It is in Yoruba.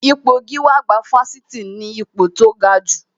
Ipò gíwá àgbà Fáṣítì ni ipò tó gajù